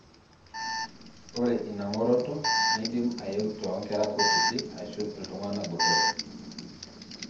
Ore inangoroto neidim aeu tongera kutiti ashu ltunganak botorok.